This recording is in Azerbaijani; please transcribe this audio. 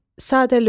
Sadəlövh.